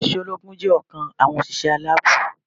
Àwọn òṣìṣẹ́ ológun jé ọ̀kan àwọn òṣìṣẹ́ aláàbò